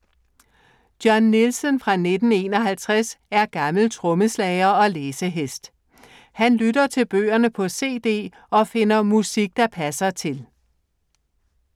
John Nielsen fra 1951 er gammel trommeslager og læsehest. Han lytter til bøgerne på CD og finder musik, der passer til.